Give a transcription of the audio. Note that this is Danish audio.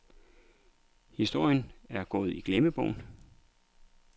Historien er gået i glemmebogen.